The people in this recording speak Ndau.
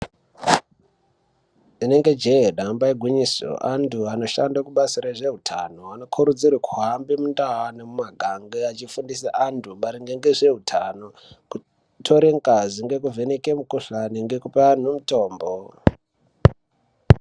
Rinenge jee, damba igwinyiso, anthu anoshanda kubasa rezveutano, anokurudzirwe kuhamba mamundau nemumagange achifundisa vanthu maringe nezveutano. Kutora ngazi, ngekuvheneka mikhuhlani ngekupa anthu mitombo.